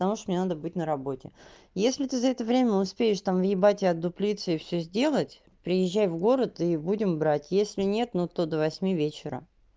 потому что мне надо быть на работе если ты за это время успеешь там въебать и отдуплиться и всё сделать приезжай в город и будем брать если нет но то до восьми вечера